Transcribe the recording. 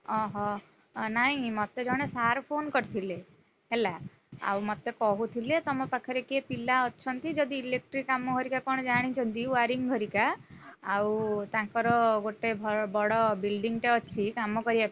ଅହୋ, ନାଇଁ ମତେ ଜଣେ sir phone କରିଥିଲେ। ହେଲା, ଆଉ ମତେ କହୁଥିଲେ ତମ ପାଖରେ କିଏ ପିଲା ଅଛନ୍ତି ଯଦି electric କାମ ହରିକା କଣଜାଣିଛନ୍ତି waring ହରିକା, ଆଉ ତାଙ୍କର ଗୋଟେ ~ଭ ବଡ building ଟେ ଅଛି କାମ କରିବ।